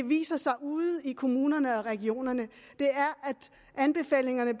viser sig ude i kommunerne og regionerne at anbefalingerne